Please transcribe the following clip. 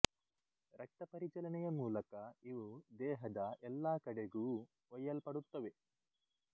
ರಕ್ತ ಪರಿಚಲನೆಯ ಮೂಲಕ ಇವು ದೇಹದ ಎಲ್ಲ ಕಡೆಗೂ ಒಯ್ಯಲ್ಪಡುತ್ತವೆ